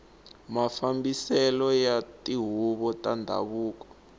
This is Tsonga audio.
mafambiselo ya tihuvo ta ndhavuko